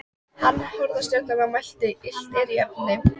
Hann horfði á stjörnurnar og mælti: Illt er í efni.